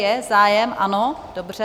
Je zájem, ano, dobře.